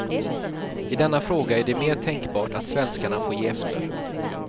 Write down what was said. I denna fråga är det mer tänkbart att svenskarna får ge efter.